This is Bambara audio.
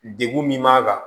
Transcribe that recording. Degun min b'a kan